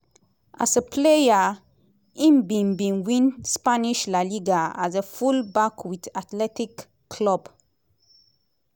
as a player im bin bin win spanish liga as a full-back wit athletic club.